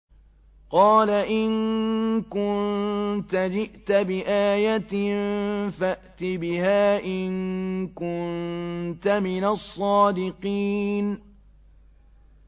قَالَ إِن كُنتَ جِئْتَ بِآيَةٍ فَأْتِ بِهَا إِن كُنتَ مِنَ الصَّادِقِينَ